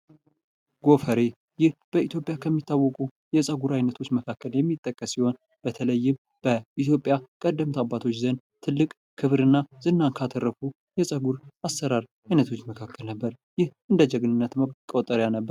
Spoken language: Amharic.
ጎፈሬ ይህ በኢትዮጵያ ከሚታወቁ የጸጉር አይነቶች የመካከል ሚጠቀስ ሲሆን በተለይም በኢትዮጵያ ቀደምት አባቶች ዘንድ ትልቅ ክብርና ዝናን ከአተርፉ የፀጉር አሰራር አይነቶች መካከል ነበር። ይህ እንደ ጀግንነት መቆጣጠሪያ ነበር።